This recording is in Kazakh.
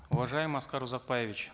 уважаемый аскар узакбаевич